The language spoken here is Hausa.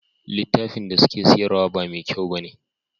Litafin da suke siyarwa ba me kyau bane